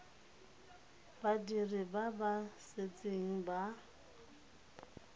badiri ba ba setseng ba